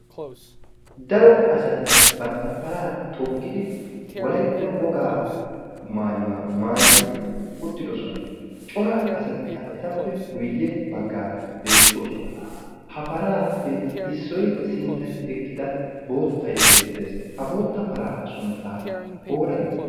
daro asati bantta paraa toggidi wolaytta wogaa maayuwaa maayidi uttidosona. cora asatikka etappe guyye baggaara beettoosona. ha paraappe issoy sinttati eqqida boottay beettees ha bootta paraa sunttaa oona giyo?